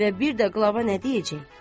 Və bir də qlava nə deyəcək?